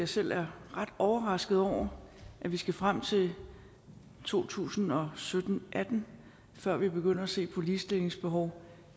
selv er ret overrasket over at vi skal frem til to tusind og sytten til atten før vi begynder at se på ligestillingsbehov